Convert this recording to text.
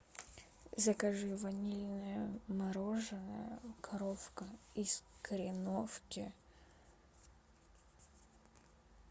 закажи ванильное мороженое коровка из кореновки